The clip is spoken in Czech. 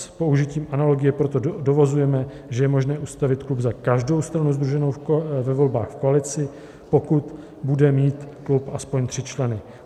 S použitím analogie proto dovozujeme, že je možné ustavit klub za každou stranu sdruženou ve volbách v koalici, pokud bude mít klub aspoň tři členy.